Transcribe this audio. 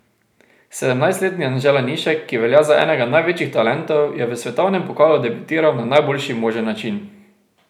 Sedemnajstletni Anže Lanišek, ki velja za enega največjih talentov, je v svetovnem pokalu debitiral na najboljši možen način.